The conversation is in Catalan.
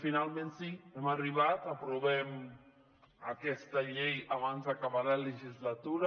finalment sí hi hem arribat aprovem aquesta llei abans d’acabar la legislatura